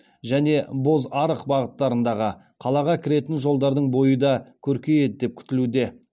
және бозарық бағыттарындағы қалаға кіретін жолдардың бойы да көркейеді деп күтілуде